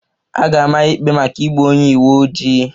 A ga-ama ya ikpe maka igbu onye uwe ojii